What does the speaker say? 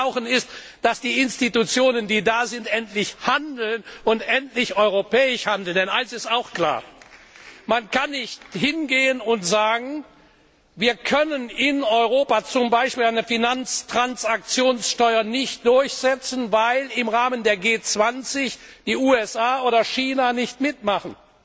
Was wir brauchen, ist, dass die Institutionen, die da sind, endlich handeln und endlich europäisch handeln. Denn eines ist auch klar Man kann nicht hingehen und sagen, wir können in Europa zum Beispiel eine Finanztransaktionssteuer nicht durchsetzen, weil im Rahmen der G 20 die USA oder China nicht mitmachen.